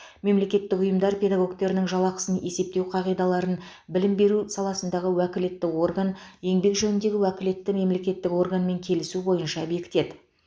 мемлекеттік ұйымдар педагогтерінің жалақысын есептеу қағидаларын білім беру саласындағы уәкілетті орган еңбек жөніндегі уәкілетті мемлекеттік органмен келісу бойынша бекітеді